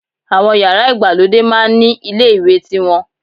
Àwọn yàrá ìgbàlódé máá ń ni ilé ìwẹ̀ tiwọn